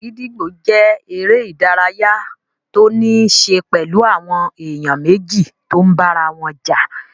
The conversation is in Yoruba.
Gídígbò jẹ́ eré ìdárayá tó níí ṣe pẹ̀lú àwọn èèyàn méjì tó n bára wọn jà